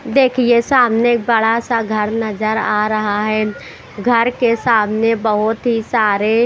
देखिए सामने बड़ा सा घर नजर आ रहा है घर के सामने बहुत ही सारे--